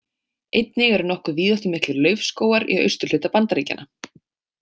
Einnig eru nokkuð víðáttumiklir laufskógar í austurhluta Bandaríkjanna.